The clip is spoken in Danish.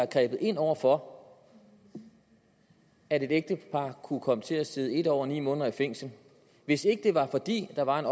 grebet ind over for at et ægtepar kunne komme til at sidde en år og ni måneder i fængsel hvis ikke det var fordi der var en